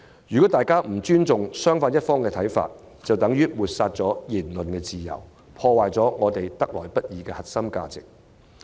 如大家不尊重對方的看法，便等於抹煞言論自由，破壞我們得來不易的核心價值。